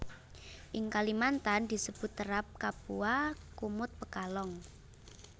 Ing Kalimantan disebut terap kapua kumut pekalong